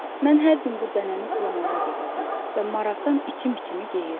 Mən hər gün bu dənəni sulamağa gedirdim və maraqdan içim-içimi yeyirdi.